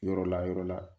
Yɔrɔ la yɔrɔ la